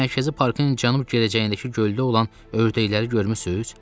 Siz Mərkəzi Parkın cənub girişindəki göldə olan ördəkləri görmüsüz?